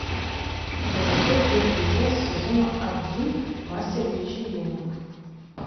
закачай первую часть сезона один мастер вечеринок